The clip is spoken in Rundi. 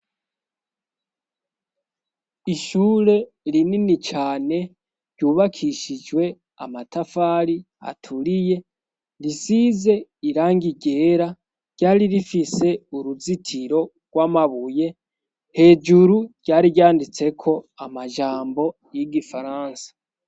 Ishure rinini cane ryubakishijwe amatafari aturiye risize irangi ryera ryari rifise uruzitiro gw'amabuye hejuru rya ryanditseko amajambo y'igifaransa.